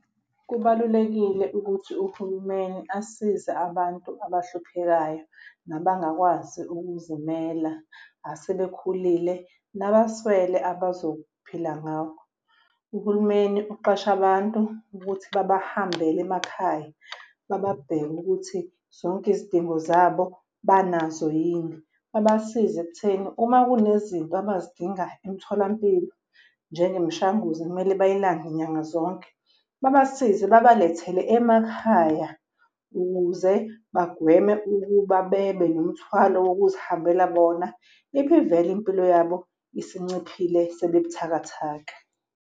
Kubalulekile ukuthi uhulumeni asize abantu abahluphekayo nabangakwazi ukuzimela, asebekhulile nabaswele abazophila ngakho. Uhulumeni uqashe abantu ukuthi babahambele emakhaya bababheke ukuthi zonke izidingo zabo banazo yini. Babasize ekutheni uma kunezinto abazidinga emtholampilo njengemishanguzo ekumele bayilande nyanga zonke, babasize babalethele emakhaya ukuze bagweme ukuba bebe nemthwalo wokuzihambela bona ibivele impilo yabo isinciphile sebebuthakathaka.